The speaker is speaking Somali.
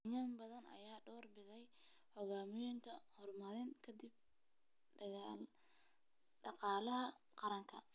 Kenyaan badan ayaa door bida hogaamiyayaal horumarin kara dhaqaalaha qaranka.